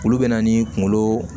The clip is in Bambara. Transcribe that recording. Olu bɛ na ni kunkolo